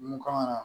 Mun kan ka